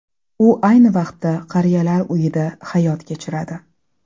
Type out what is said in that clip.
U ayni vaqtda qariyalar uyida hayot kechiradi.